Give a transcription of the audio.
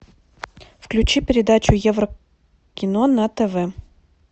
включи передачу еврокино на тв